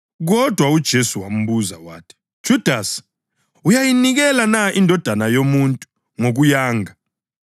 kodwa uJesu wambuza wathi, “Judasi, uyayinikela na iNdodana yoMuntu ngokuyanga?”